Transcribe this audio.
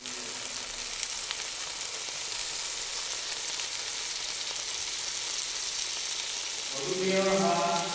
मधुमेह हा